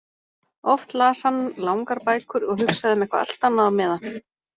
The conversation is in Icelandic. Oft las hann langar bækur og hugsaði um eitthvað allt annað á meðan.